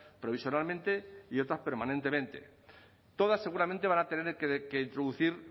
provisionalmente y otras permanentemente todas seguramente van a tener que introducir